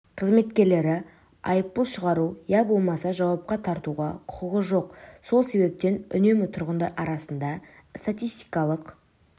қызметкерлері айыппұл шығару иә болмаса жауапқа тартуға құқығы жоқ сол себептен үнемі тұрғындар арасында статистикалық